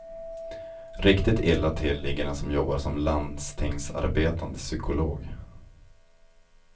Riktigt illa till ligger den som jobbar som landstingsarbetande psykolog.